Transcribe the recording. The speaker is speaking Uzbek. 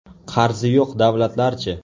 Qarzi yo‘q davlatlarchi?